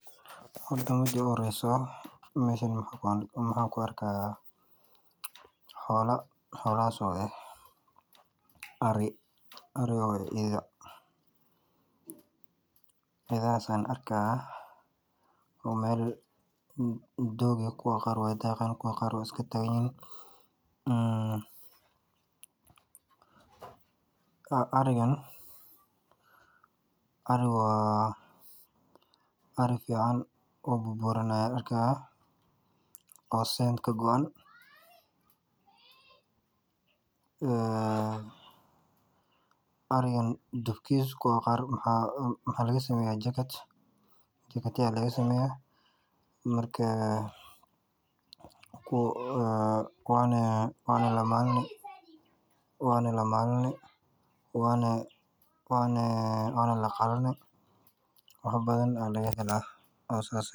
Horta mida uhoreyso waxaan rki haaya xoolo ah ari iyo ida oo meela doog ah daaqi haayan kuwa qaar waay iska taagan yihiin kuwa burburan ayaa arki haaya kuwa qaar jakad ayaa laga sameeya waana la maalani waana laqalani wax badan ayaa laga helaa oo saas ah.